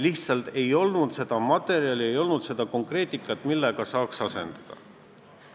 Lihtsalt ei olnud seda materjali, ei olnud midagi konkreetset, millega saaks asendada.